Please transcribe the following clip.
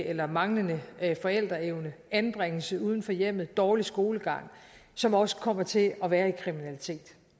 eller manglende forældreevne anbringelse uden for hjemmet dårlig skolegang som også kommer til at være i kriminalitet